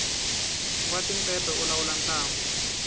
nwa timpepe u lawula ntlangu